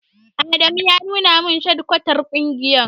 Adamu ya nuna min shadikwatar ƙungiyar.